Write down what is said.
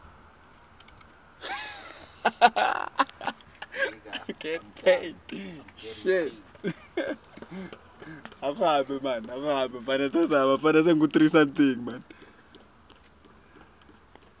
iccma kutfola sivumelwano